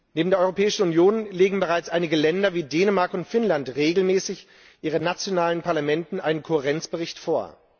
Neben der Europäischen Union legen bereits einige Länder wie Dänemark und Finnland regelmäßig ihren nationalen Parlamenten einen Kohärenzbericht vor.